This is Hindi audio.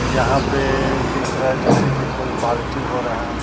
यहां पे दिख रहा है जैसे कि कोई पालटी हो रहा है।